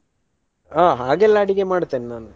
ಹಾ ಹಾಗೆಲ್ಲಾ ಅಡಿಗೆ ಮಾಡ್ತೆನ್ ನಾನು.